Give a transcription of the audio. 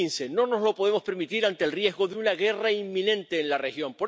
2015. No nos lo podemos permitir ante el riesgo de una guerra inminente en la región.